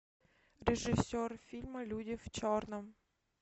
режиссер фильма люди в черном